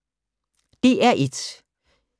DR1